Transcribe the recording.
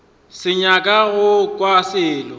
sa nyaka go kwa selo